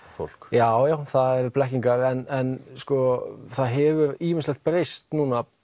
fólk já já það eru blekkingar en það hefur ýmislegt breyst